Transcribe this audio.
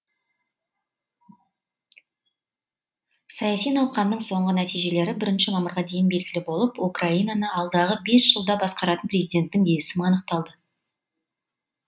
саяси науқанның соңғы нәтижелері бірінші мамырға дейін белгілі болып украинаны алдағы бес жылда басқаратын президенттің есімі анықталады